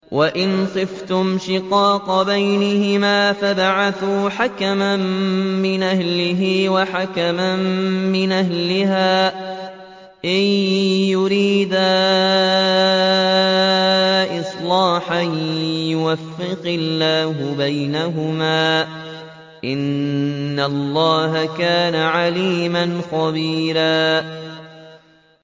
وَإِنْ خِفْتُمْ شِقَاقَ بَيْنِهِمَا فَابْعَثُوا حَكَمًا مِّنْ أَهْلِهِ وَحَكَمًا مِّنْ أَهْلِهَا إِن يُرِيدَا إِصْلَاحًا يُوَفِّقِ اللَّهُ بَيْنَهُمَا ۗ إِنَّ اللَّهَ كَانَ عَلِيمًا خَبِيرًا